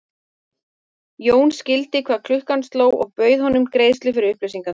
Jón skildi hvað klukkan sló og bauð honum greiðslu fyrir upplýsingar.